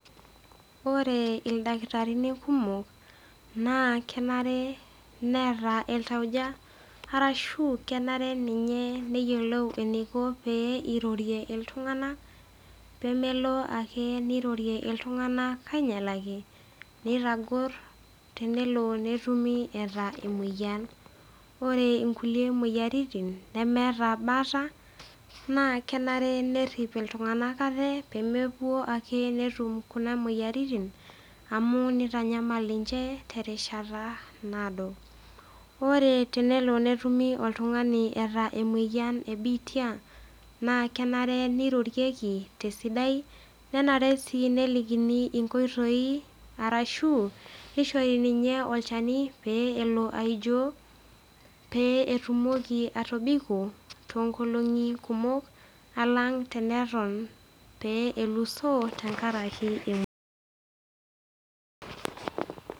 Ore ildakitarini kumok, naa kenare neata iltauja ashu kenare ninye neyiolou pee eirorie iltung'ana pee melo ake neirorie iltung'anak ake ainyalaki, neitagor, tenelo netumi eata emoyian. Ore inkulie moyiaritin nemeata baata, naa kenare nerip iltung'ana aate pee mewuo ake netum kuna moyiaritin, amu neitanyamal ninche te erishata naado. Ore tenelo netumi oltung'ani eata e biitia, naa kenare neirorieki te esidai, nenare sii nelikini inkoitoi sidai arashu neishori ninye olchani peyie elo aijoo, pee etumoki atobiko toonkolong'i kumok alang' neton pee elusoo enkaraki emoyian.